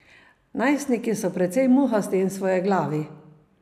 Najstniki so precej muhasti in svojeglavi.